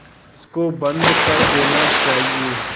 इसको बंद कर देना चाहिए